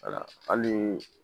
wala hali